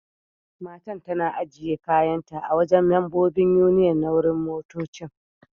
Matan tana ajiye kayan ta a'wajen membobin Union na wurin motoccin.